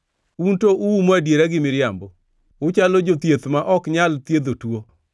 Un to uumo adiera gi miriambo; uchalo jothieth ma ok nyal thiedho tuo!